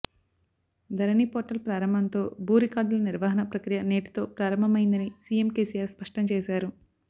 ధరణి portal ప్రారంభంతో భూ రికార్డుల నిర్వహణ ప్రక్రియ నేటితో ప్రారంభమయ్యిందని సిఎం కెసిఆర్ స్పష్టం చేశారు